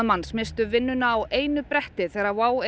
manns misstu vinnuna á einu bretti þegar WOW